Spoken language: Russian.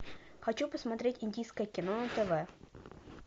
хочу посмотреть индийское кино на тв